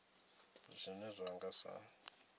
zwithu zwine zwa nga sa